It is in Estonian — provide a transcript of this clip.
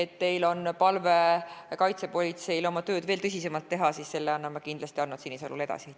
Kui teil on palve kaitsepolitseile, et nad oma tööd veel tõsisemalt teeksid, siis selle annan ma kindlasti Arnold Sinisalule edasi.